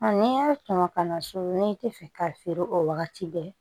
n'i y'a sɔn ka na so n'i tɛ fɛ k'a feere o wagati bɛɛ